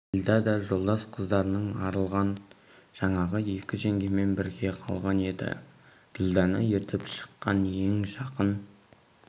ділдә да жолдас қыздарынан арылған жаңағы екі жеңгемен бірге қалған еді ділдәні ертіп шыққан ең жақын